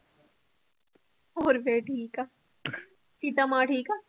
ਹੋਰ ਫਿਰ ਠੀਕ ਆ ਸੀਤਾ ਮਾ ਠੀਕ ਆ?